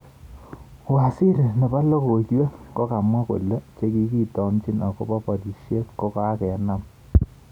Waziri. nepo logoiywrk kokamwa kole chekitomchin akopo porishet kokokenam